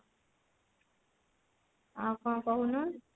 ଆଉ କଣ କହୁନୁ